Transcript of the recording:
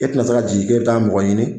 E tɛna se ka jigi kɛ bɛ taa mɔgɔ ɲini.